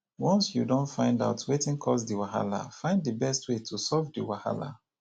once you don find out wetin cause di wahala find di best wey to solve the wahala